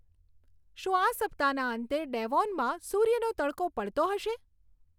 શું આ સપ્તાહના અંતે ડેવોનમાં સૂર્યનો તડકો પડતો હશે